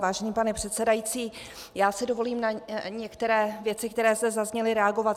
Vážený pane předsedající, já si dovolím na některé věci, které zde zazněly, reagovat.